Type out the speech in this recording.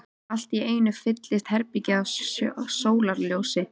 Allt í einu fyllist herbergið af sólarljósi.